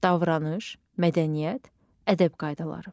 Davranış, mədəniyyət, ədəb qaydaları.